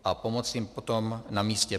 A pomoci jim potom na místě.